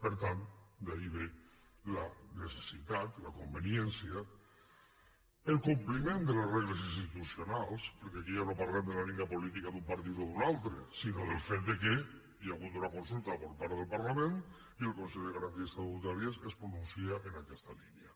per tant d’aquí ve la necessitat la conveniència el compliment de les regles institucionals perquè aquí ja no parlem de la línia política d’un partit o d’un altre sinó del fet que hi ha hagut una consulta per part del parlament i el consell de garanties estatutàries es pronuncia en aquesta línia